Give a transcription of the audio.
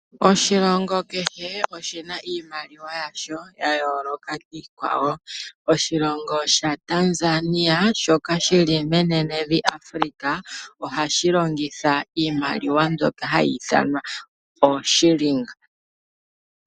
Oshilongo kehe oshina iimaliwa yasho ya yooloka kiikwawo. Oshilongo shaTanzania shoka shi li menenevi Afrika ohashi longitha iimaliwa mbyoka hayi ithanwa ooshiilinga.